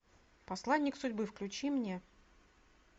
посланник судьбы включи мне